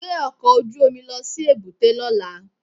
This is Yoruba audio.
Gbé ọkọ̀ ojú omi lọ sí èbúté lọ́la